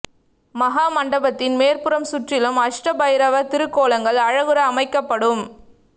மஹா மண்டபத்தின் மேற்புறம் சுற்றிலும் அஷ்ட பைரவர் திருக்கோலங்கள் அழகுற அமைக்கப்